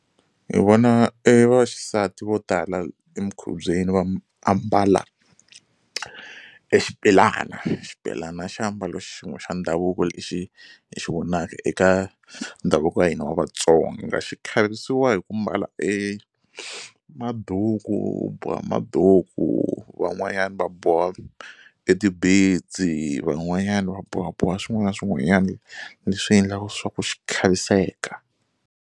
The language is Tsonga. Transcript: Hi vona e vaxisati vo tala emikhubyeni va ambala e xibelana, xibelana i xiambalo xin'we xa ndhavuko lexi hi xi vonaka eka ndhavuko wa hina wa Vatsonga xi khavisiwa hi ku mbala e maduku u boha maduku van'wanyana va boha van'wanyani va bohaboha swin'wana na swin'wanyani leswi endlaka swa ku xi khaviseka.